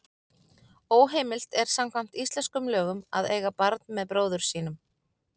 Óheimilt er samkvæmt íslenskum lögum að eiga barn með bróður sínum.